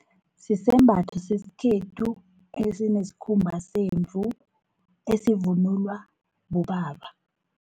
Sisembatho sesikhethu, esineskhumba semvu esivunulwa bobaba.